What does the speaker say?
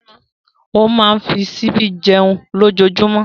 Ó máa fi ṣíbí jẹun lójoojúmọ́.